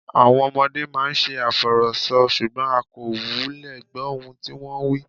Àwọn ọmọdé á máa ṣe àfọ̀rọ̀sọ, ṣùgbọ́n a kò wulẹ̀ gbọ́ ohun tí wón ń wí.